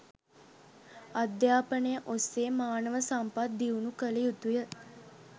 අධ්‍යාපනය ඔස්සේ මානව සම්පත් දියුණු කළ යුතුය.